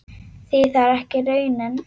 Því það er ekki raunin.